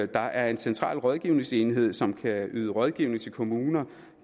der er en central rådgivningsenhed som kan yde rådgivning til kommuner